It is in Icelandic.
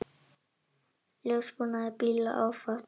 Ljósabúnaði bíla áfátt